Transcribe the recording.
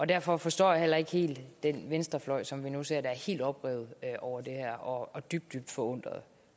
derfor forstår jeg heller ikke helt den venstrefløj som vi nu ser der er helt oprevet over det her og dybt dybt forundret